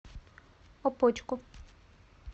опочку